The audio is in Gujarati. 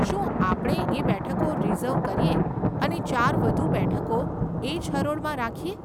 શું આપણે એ બેઠકો રીઝર્વ કરીએ અને ચાર વધુ બેઠકો એજ હરોળમાં રાખીએ?